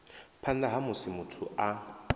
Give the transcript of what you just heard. phanḓa ha musi muthu a